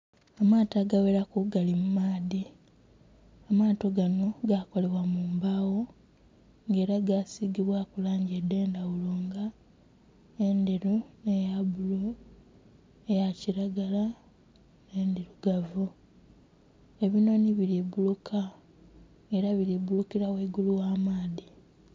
Amaato agagheraku gali mumaadhi, amaato gano gakolebwa mumbagho nga era gasigibwaku langi edhendhaghulo nga endheru, eyabbululu, eyakiragala, n'endhirugavu. Ebinoni buli bbuluka era buli bbulukira ghaigulu ogh'amaadhi.